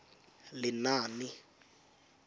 lenaane